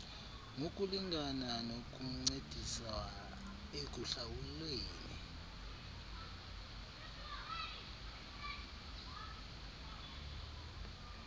ngokulingabna nokuncediswa ekuhlawuleni